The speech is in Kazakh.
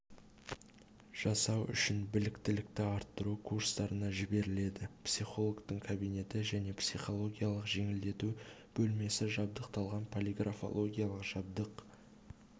жасау үшін біліктілікті арттыру курстарына жіберіледі психологтың кабинеті және психологиялық жеңілдету бөлмесі жабдықталған полиграфологиялық жабдық